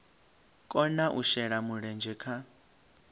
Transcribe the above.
kona u shela mulenzhe kha